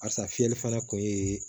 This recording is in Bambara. Asa fiyɛli fana kun ye